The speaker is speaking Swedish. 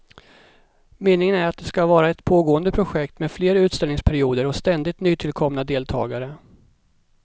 Meningen är att det ska vara ett pågående projekt med fler utställningsperioder och ständigt nytillkomna deltagare.